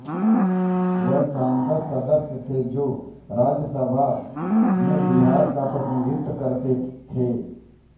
वह संसद सदस्य थे जो राज्यसभा में बिहार का प्रतिनिधित्व करते थे